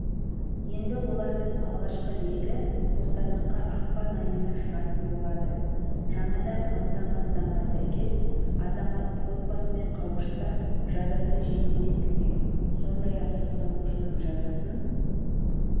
енді олардың алғашқы легі бостандыққа ақпан айында шығатын болады жаңадан қабылданған заңға сәйкес азамат отбасымен қауышса жазасы жеңілдетілмек сондай-ақ сотталушының жазасын